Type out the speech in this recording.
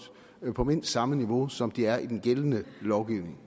på mindst samme niveau som de er i den gældende lovgivning